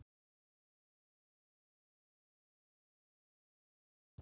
Ég held að það skipti engu máli.